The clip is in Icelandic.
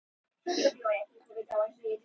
Allt skiptir máli í þessu.